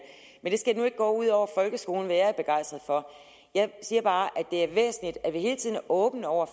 men det skal nu ikke gå ud over folkeskolen hvad jeg er begejstret for jeg siger bare at det er væsentligt at vi hele tiden er åbne over